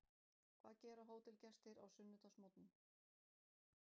Hvað gera hótelgestir á sunnudagsmorgnum?